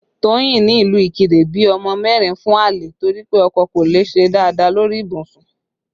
Toyin ní ìlú Ikire bí ọmọ mẹ́rin fún àlè torí pé ọkọ kò le ṣe dáadáa lórí ibùsùn